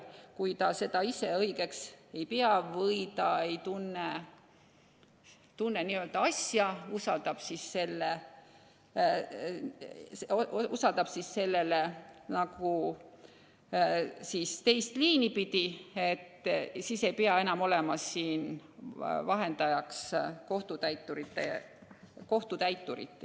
Kui ta seda õigeks ei pea või ta ei tunne asja, siis ta usaldab nagu teist liini pidi, siis ei pea enam olema vahendajaks kohtutäiturit.